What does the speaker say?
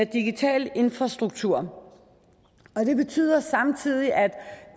digital infrastruktur det betyder samtidig at